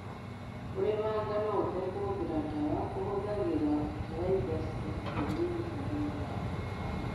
Kũrĩma ngano ũtakũhũthĩra dawa kũhũthagĩra bataraitha cia kienyeji ta thumu wa mahiu.